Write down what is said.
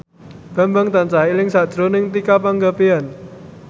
Bambang tansah eling sakjroning Tika Pangabean